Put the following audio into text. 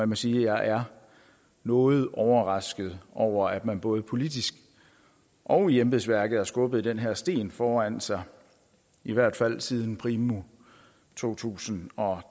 må sige at jeg er noget overrasket over at man både politisk og i embedsværket har skubbet den her sten foran sig i hvert fald siden primo to tusind og